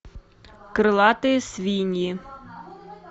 крылатые свиньи